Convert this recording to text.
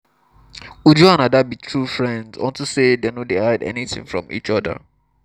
uju and ada be true friends unto say dey no dey hide anything from each other